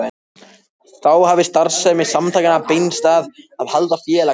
Þá hefur starfsemi samtakanna beinst að því að halda félagsfundi.